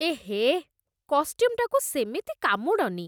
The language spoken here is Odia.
ଏହେ, କଷ୍ଟ୍ୟୁମ୍‌ଟାକୁ ସେମିତି କାମୁଡ଼ନି !